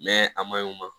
a maɲɔ